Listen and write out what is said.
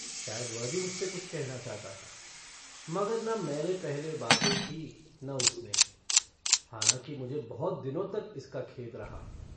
शायद वह भी मुझसे कुछ कहना चाहता था मगर न मैंने पहले बातें कीं न उसने हालाँकि मुझे बहुत दिनों तक इसका खेद रहा।